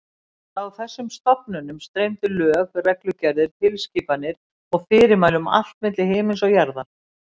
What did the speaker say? Frá þessum stofnunum streymdu lög, reglugerðir, tilskipanir og fyrirmæli um allt milli himins og jarðar.